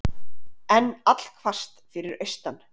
Enn allhvasst fyrir austan